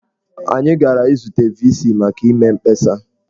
Anyị gara izute VC maka ịme mkpesa.